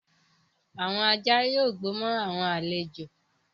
Awọn ajá yóò gbó mo awọn alẹ́jo